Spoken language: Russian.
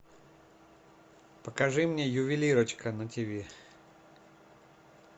покажи мне ювелирочка на ти ви